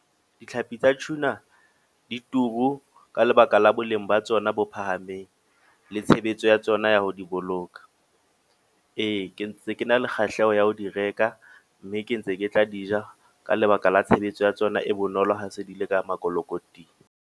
Ditlhapi tsa tuna, di turu ka lebaka la boleng ba tsona bo phahameng. Le tshebetso ya tsona ya ho di boloka. Ee, ke ntse ke na le kgahleho ya ho di reka. Mme ke ntse ke tla di ja, ka lebaka la tshebetso ya tsona e bonolo ha se di le ka makotikoting.